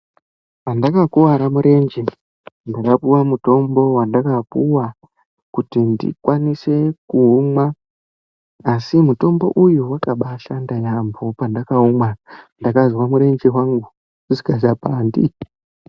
Pandakakuwara murenje ndakapuwa mutombo wandakapuwa kuti ndikwanise kuumwa, asi mitombo uyu wakabaashanda yaamho pandakaumwa ndakazwa murenje wangu usikachapandi.